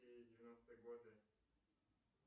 девяностые годы